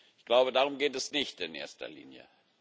Ich glaube, darum geht es nicht in erster Linie.